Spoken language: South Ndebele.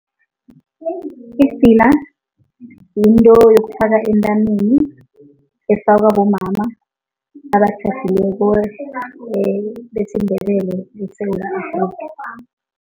Idzila yinto yokufaka entameni, efakwa bomama abatjhadileko besiNdebele eSewula Afrika.